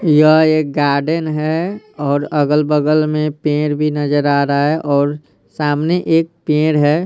यह एक गार्डन हैऔर अगल-बगल में पेड़ भी नजर आ रहा हैऔर सामने एक पेड़ है।